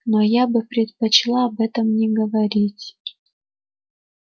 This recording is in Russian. но я бы предпочла об этом не говорить